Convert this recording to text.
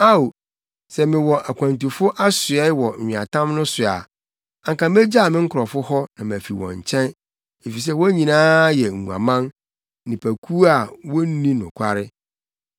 Ao, sɛ mewɔ akwantufo asoɛe wɔ nweatam no so a anka megyaw me nkurɔfo hɔ na mafi wɔn nkyɛn; efisɛ wɔn nyinaa yɛ nguaman, nnipakuw a wonni nokware.